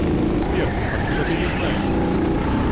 сбер откуда ты ее знаешь